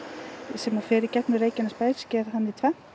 sem fer í gegnum Reykjanesbæ sker hann í tvennt